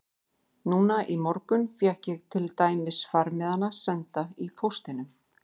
Núna í morgun fékk ég til dæmis farmiðana senda í póstinum.